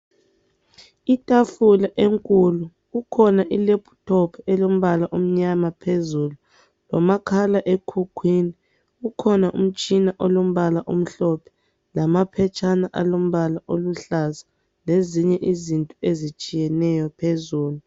Itafula enkulu kukhona ilaptop elombala omnyama phezulu lomakhalekhukhwini kukhona umtshina olombala omhlophe lamaphetshana alombala oluhlaza lezinye izinto ezitshiyeneyo phezulu.